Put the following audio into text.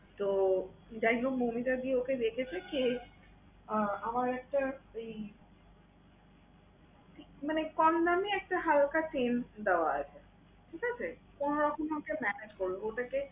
তো যাইহোক মৌমিতাদি ওকে দেখেছে কি আহ আমার একটা মানে কমদামি একটা হালকা chain দেওয়া আছে, ঠিক আছে? কোনরকম ওটা manage করলো ওটাকে